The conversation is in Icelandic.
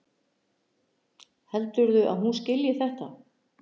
Heldurðu að hún skilji þetta?